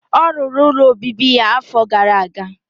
Ọ rụrụ ụlọ obibi ya afọ gara aga.